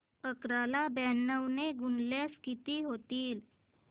अकरा ला ब्याण्णव ने गुणल्यास किती होतील